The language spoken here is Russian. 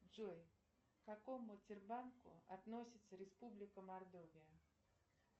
джой к какому тербанку относится республика мордовия